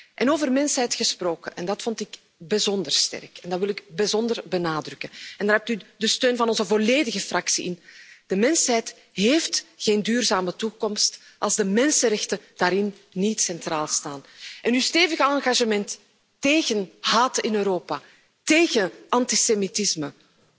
En over mensheid gesproken en dat vond ik bijzonder sterk en wil ik bijzonder benadrukken, en daarvoor hebt u de steun van onze volledige fractie de mensheid heeft geen duurzame toekomst als de mensenrechten daarin niet centraal staan. En uw stevige engagement tegen haat in Europa, tegen antisemitisme,